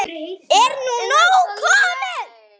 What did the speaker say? Þannig lifir minning þeirra lengst.